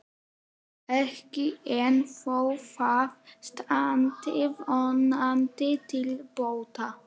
Ekki enn, þó það standi vonandi til bóta.